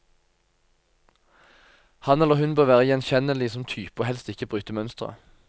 Han eller hun bør være gjenkjennelig som type og helst ikke bryte mønsteret.